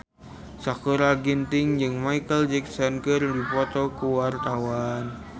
Sakutra Ginting jeung Micheal Jackson keur dipoto ku wartawan